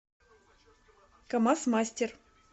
камаз мастер